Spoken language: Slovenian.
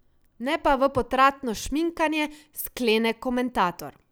Ne pa v potratno šminkanje, sklene komentator.